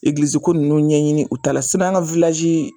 ninnu ɲɛɲini u ta la an ka .